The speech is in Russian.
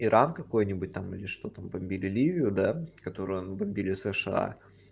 иран какой-нибудь там или что там бомбили ливию да которую бомбили сша